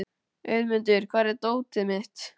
Auðmundur, hvar er dótið mitt?